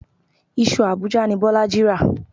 Iṣu Abuja ni Bọ́lájí rà.